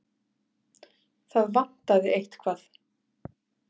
Það vantaði eitthvað.